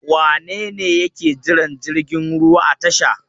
Wane ne yake jiran jirgin ruwa a tasha?